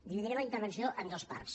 dividiré la intervenció en dos parts